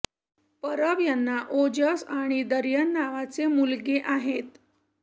परब यांना ओजस आणि दर्यन नावाचे मुलगे आहेत